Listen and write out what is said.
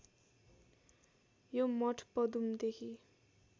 यो मठ पदुमदेखि